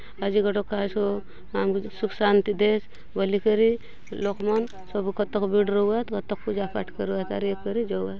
आजी गोटोक कायतो सुःख शांति देस बलि करी लोग मन सबु कतक भीड़ रहुआत कतक पूजा पाठ करुआत अउर ये करी जाऊआत।